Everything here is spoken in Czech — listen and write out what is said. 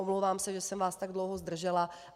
Omlouvám se, že jsem vás tak dlouho zdržela.